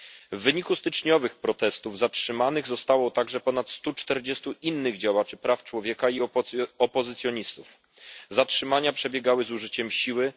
W wyniku styczniowych protestów zatrzymanych zostało także ponad 140 innych działaczy praw człowieka i opozycjonistów. Zatrzymania przebiegały z użyciem siły.